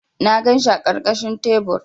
Na ganshi a ƙarƙashin tebur.